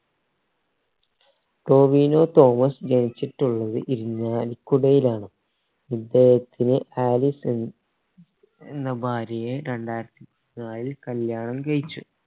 ടോവിനോ തോമസ് ജനിച്ചിട്ടുള്ളത് ഇരിഞ്ഞാലി കുടയിലാണ് ഇദ്ദേഹത്തിന് ആലീസ് എന്ന ഭാര്യയെ രണ്ടായിരത്തി പതിനാലിൽ കല്യാണം കഴിച്ചു